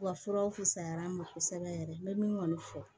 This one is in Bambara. Wa furaw fisayara ma kosɛbɛ yɛrɛ n bɛ min kɔni fɔ